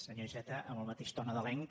senyor iceta en el ma·teix to nadalenc